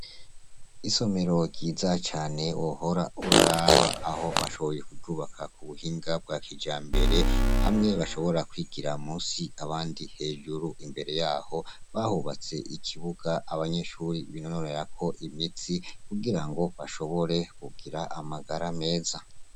Isomero ryiza cane wohora uraraba aho bashoboye kuryubaka ku buhinga bwa kija mbere bamwe bashobora kwigira musi abandi hejuru imbere yaho bahubatse ikibuga abanyeshuri binonorera ko imitsi kugira ngo bashobore kugira amagara meza.